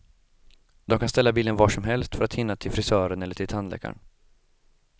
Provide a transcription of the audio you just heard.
De kan ställa bilen var som helst för att hinna till frisören eller till tandläkaren.